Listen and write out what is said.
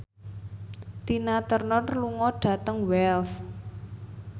Tina Turner lunga dhateng Wells